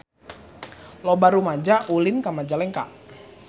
Loba rumaja ulin ka Majalengka